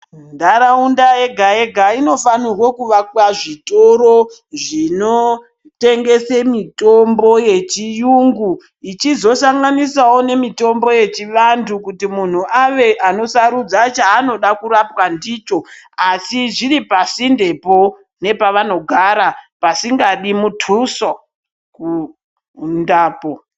Ntaraunda yega-yega inofanirwo kuvakwa zvitoro zvinotengese mitombo yechiyungu ichizosanganisawo nemitombo yechivantu kuti munhu ave anosarudza chaanoda kurapwa ndicho. Asi zviri pasindepo nepavanogara, pasingadi mutuso kuindapo.